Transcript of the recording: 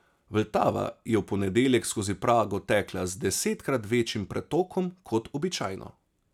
Vltava je v ponedeljek skozi Prago tekla z desetkrat večjim pretokom kot običajno.